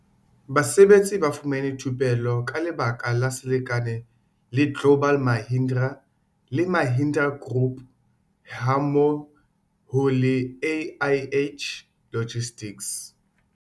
Basebetsi ba fumane thupello ka lebaka la selekane le global Mahindra le Mahindra group hammo ho le AIH logistics.